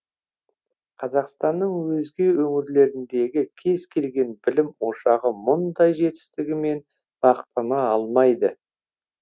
қазақстанның өзге өңірлеріндегі кез келген білім ошағы мұндай жетістігімен мақтана алмайды